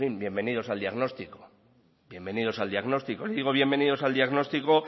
en fin bienvenidos al diagnóstico les digo bienvenidos al diagnóstico